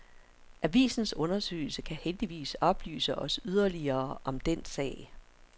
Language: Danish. Avisens undersøgelse kan heldigvis oplyse os yderligere om den sag.